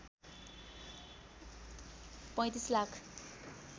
३५ lakh